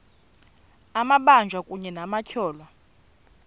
amabanjwa kunye nabatyholwa